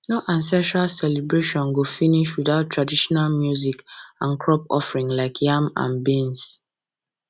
no ancestral celebration go finish without traditional music and crop offering like yam and beans